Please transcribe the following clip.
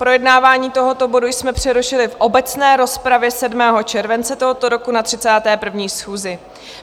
Projednávání tohoto bodu jsme přerušili v obecné rozpravě 7. července tohoto roku na 31. schůzi.